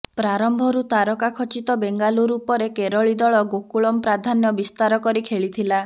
ପ୍ରାରମ୍ଭରୁ ତାରକା ଖଚିତ ବେଙ୍ଗାଲୁରୁ ଉପରେ କେରଳୀ ଦଳ ଗୋକୁଳମ୍ ପ୍ରାଧାନ୍ୟ ବିସ୍ତାରକରି ଖେଳିଥିଲା